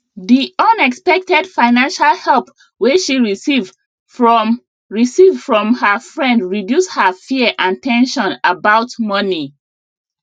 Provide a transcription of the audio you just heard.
di unexpected financial help wey she receive from receive from her friend reduce her fear and ten sion about money